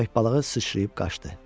Köpək balığı sıçrayıb qaçdı.